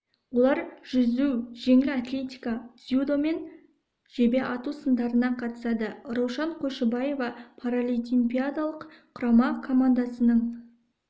олар жүзу жеңіл атлетика дзюдо мен жебе ату сындарына қатысады раушан қойшыбаева паралимпиадалық құрама командасының